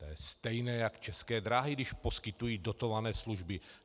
To je stejné jak české dráhy, když poskytují dotované služby.